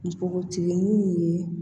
Npogotiginin ye